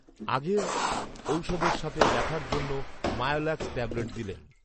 আগেরঔষধের সাথে ব্যাথার জন্য মায়োলাক্স ট্যাবলেট দিলেন